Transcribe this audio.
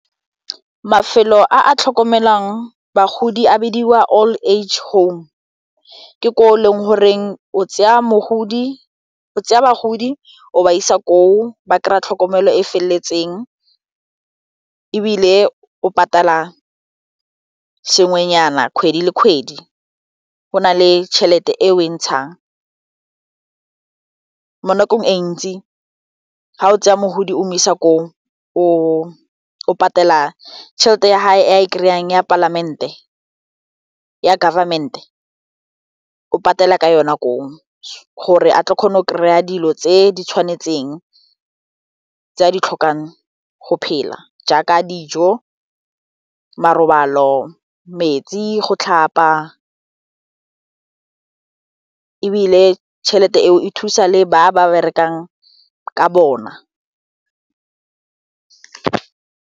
Mafelo a a tlhokomelang bagodi a bidiwa old age home ke ko o leng goreng o tseya bagodi o ba isa koo ba kry-a tlhokomelo e feleletseng ebile o patala sengwenyana kgwedi le kgwedi go na le tšhelete e o e ntshang mo nakong e ntsi ga o tseya mogodi o mo isa ko o patela tšhelete ya gae a e kry-ang ya government o patela ka yona ko gore a tle kgone o kry-a dilo tse di tshwanetseng tse a ditlhokang go phela jaaka dijo marobalo, metsi go tlhapa ebile tšhelete eo e thusa le ba ba berekang ka bona.